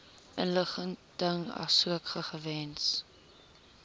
inligting asook gegewens